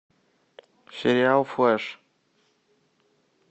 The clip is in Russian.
сериал флэш